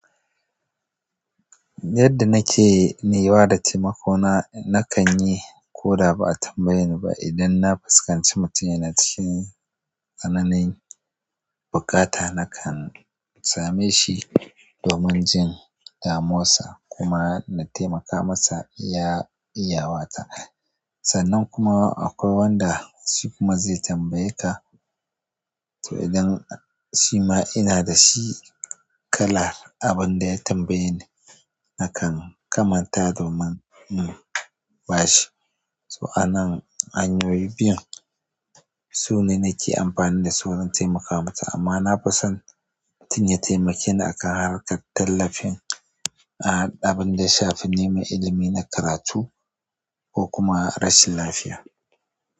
Yadda nake ni ba da taimako na, na kan yi ko da ba a tambaye ni ba. Idan na fuskanci mutum yana cikin tsananin buƙata, na kan same shi domin jin damuwan sa kuma na taimaka masa iya iyawata. Sannan kuma akwai wanda shi kuma zai tambaye ka, to idan shi ma ina da shi kala abin da ya tambaye ni, na kan kamata domin in ba shi. To anan hanyoyi biyun sune nake amfani da su don taimakawa mutum, amma na fi son mutum ya taimake ni a kan harkar tallafin, a haɗa abin da ya shafi neman ilimi na karatu ko kuma rashin lafiya.